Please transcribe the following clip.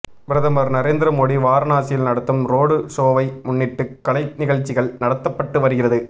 பிரதமர் நரேந்திர மோடி வாரணாசியில் நடத்தும் ரோடு ஷோவை முன்னிட்டு கலை நிகழ்ச்சிகள் நடத்தப்பட்டு வருகிறது